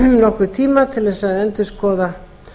nokkurn tíma til að endurskoða